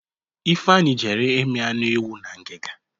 Ifeanyi jere imi anụ ewu na ngiga.